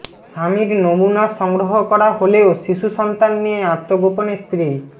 স্বামীর নমুনা সংগ্রহ করা হলেও শিশুসন্তান নিয়ে আত্মগোপনে স্ত্রী